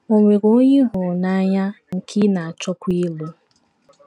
Ò nwere onye ị hụrụ n’anya, nke ị na - achọkwa ịlụ?